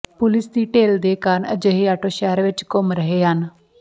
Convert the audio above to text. police ਦੀ ਢਿੱਲ ਦੇ ਕਾਰਨ ਅਜਿਹੇ ਆਟੋ ਸ਼ਹਿਰ ਵਿਚ ਘੁੰਮ ਰਹੇ ਹਨ